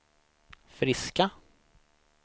friska